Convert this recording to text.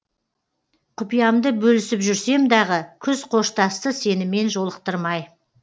құпиямды бөлісіп жүрсем дағы күз қоштасты сенімен жолықтырмай